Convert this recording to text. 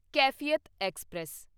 Kaifiyat express